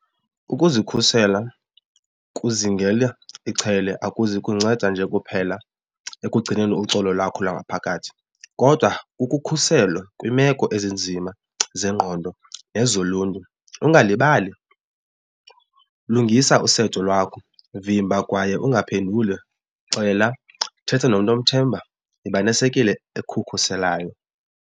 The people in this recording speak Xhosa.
Ukuzikhusela kuzingela ichele akuzikusinceda nje kuphela ekugcineni uxolo lwakho lwangaphakathi kodwa kukukhusela kwiimeko ezinzima zengqondo nezoluntu. Ungalibali lungisa usetho lwakho vimba kwaye ungaphenduli xela thetha nomntu omthembayo yiba nesekele ekukhuselayo.